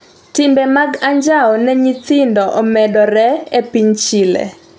Timbe mag anjao ne nyithindo omedore e piny Chile